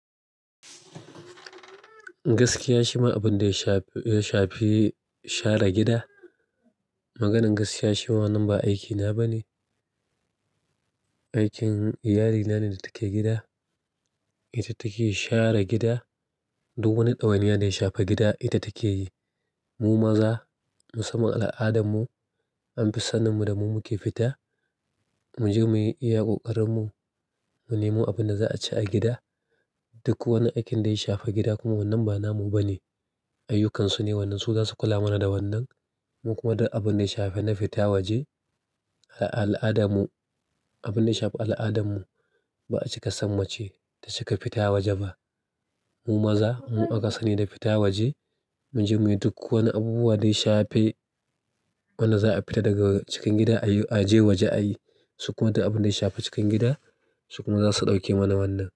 Gaskiya shima abun da ya shafi share gida, maganan gaskiya shima wannan ba aiki na ba ne. Aikin iyalina ne da take gida, ita take share gida. Duk wani ɗawaniya da ya shafa gida ita take yi. Mu maza musamman al'adarmu an fi sanin mu da mu muke fita, mu je mu yi iya ƙoƙarin mu mu nemo abin da za a ci a gida. Duk wani aikin da ya shafa gida kuma wannan ba namu ba ne, ayyukansu ne wannan. Su za su kula mana da wannan. Mu kuma duk abun da ya shafi na fita waje a al'adarmu, abin da ya shafi al'adarmu ba a cika san mace ta cika fita waje ba. Mu maza mu aka sani da fita waje, mu je muyi duk wani abubuwa da ya shafi wanda za a fita daga cikin gida a je waje a yi. Su kuma duk abin da ya shafi cikin gida su kuma za su ɗauke mana wannan.